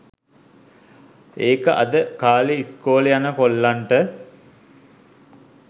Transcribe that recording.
ඒක අද කාලේ ඉස්කෝලෙ යන කොල්ලොන්ට